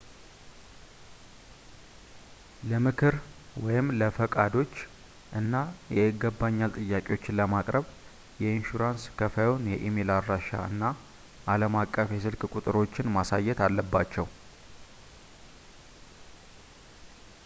ለምክር/ለፈቃዶች እና የይገባኛል ጥያቄዎችን ለማቅረብ የኢንሹራንስ ከፋዩን የኢሜይል አድራሻ እና አለም አቀፍ የስልክ ቁጥሮችን ማሳየት አለባቸው